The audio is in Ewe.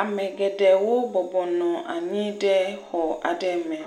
Ame geɖewo bɔbɔnɔ anyi ɖe xɔ aɖe me.